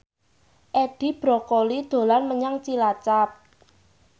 Edi Brokoli dolan menyang Cilacap